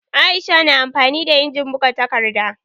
Aisha na amfani da injimin buga takarda